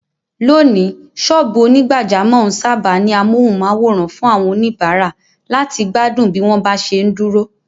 Lónìí, sọ́ọ̀bù onígbàjámọ̀ ń sáábà ní amóhùnmáwòràn fún àwọn oníbàárà láti gbádùn bí wọ́n bá ṣe ń dúró.